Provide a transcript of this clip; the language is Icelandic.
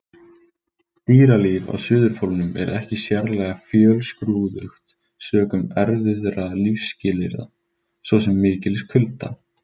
Dýralíf á Suðurpólnum er ekki sérlega fjölskrúðugt sökum erfiðra lífsskilyrða, svo sem mikils kulda.